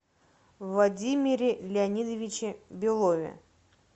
владимире леонидовиче белове